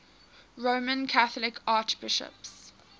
roman catholic archbishops